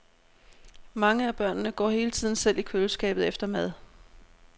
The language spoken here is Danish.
Mange af børnene går hele tiden selv i køleskabet efter mad.